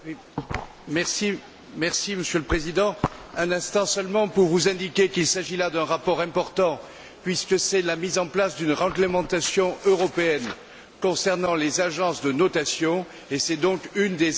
Monsieur le Président, un instant seulement pour vous indiquer qu'il s'agit là d'un rapport important puisque c'est la mise en place d'une réglementation européenne concernant les agences de notation, et c'est donc un des éléments de réponse à la crise.